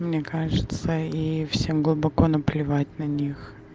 мне кажется и всем глубоко наплевать на них